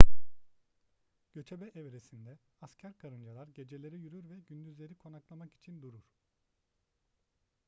göçebe evresinde asker karıncalar geceleri yürür ve gündüzleri konaklamak için durur